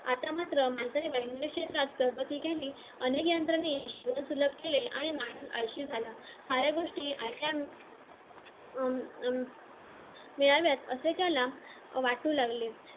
आता मात्र अनेक यंत्रणे मिळाव्यात असे त्याला वाटू लागले